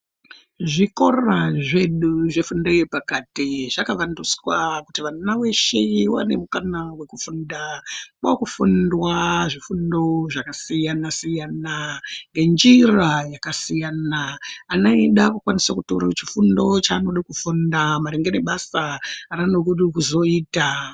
Zvikora zvedu zvefundo yepakati zvakavandudzwa kuti vana veshe vave nemukana wekufunda. Kwakufundwa zvifundo zvakasiyana-siyana, ngenjira yakasiyana. Ana edu akukwanisa kutorawo chifundo chaanoda kufunda maringe nebasa raanode kuzoita.